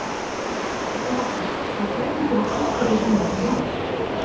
Það hafði heppnast, þó fremur fyrir tilstilli hennar en hans.